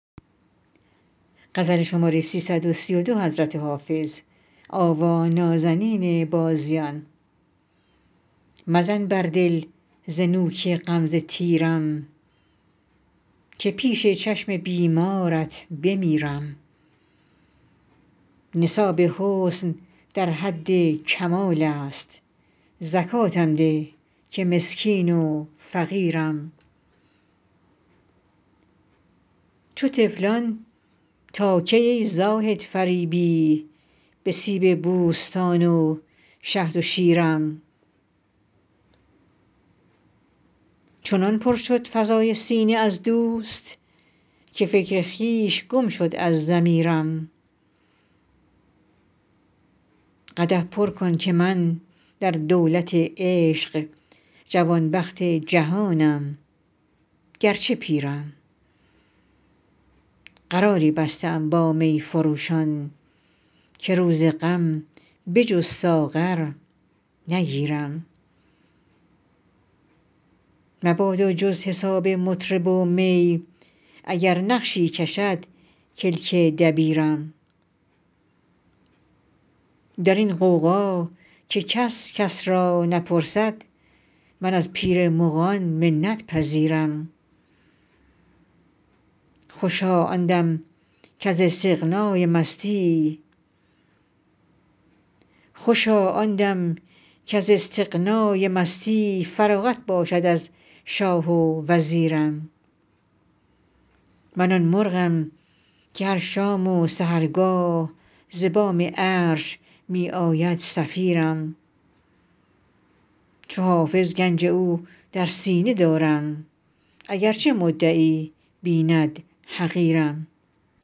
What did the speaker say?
مزن بر دل ز نوک غمزه تیرم که پیش چشم بیمارت بمیرم نصاب حسن در حد کمال است زکاتم ده که مسکین و فقیرم چو طفلان تا کی ای زاهد فریبی به سیب بوستان و شهد و شیرم چنان پر شد فضای سینه از دوست که فکر خویش گم شد از ضمیرم قدح پر کن که من در دولت عشق جوانبخت جهانم گرچه پیرم قراری بسته ام با می فروشان که روز غم به جز ساغر نگیرم مبادا جز حساب مطرب و می اگر نقشی کشد کلک دبیرم در این غوغا که کس کس را نپرسد من از پیر مغان منت پذیرم خوشا آن دم کز استغنای مستی فراغت باشد از شاه و وزیرم من آن مرغم که هر شام و سحرگاه ز بام عرش می آید صفیرم چو حافظ گنج او در سینه دارم اگرچه مدعی بیند حقیرم